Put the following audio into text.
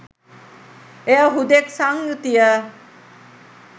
එය හුදෙක් සංයුතිය